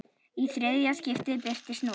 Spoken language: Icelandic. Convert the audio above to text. Í þriðja skiptið birtist núll.